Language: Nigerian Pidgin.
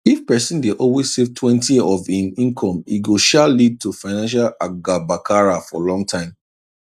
if person dey always savetwentyof im income e go um lead to financial agabakara for long time